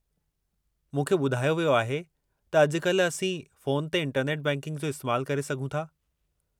मूंखे ॿुधायो वियो आहे त अॼु काल्हि असीं फ़ोन ते इंटरनेट बैंकिंग जो इस्तेमालु करे सघूं था।